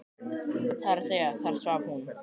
Það er að segja: þar svaf hún.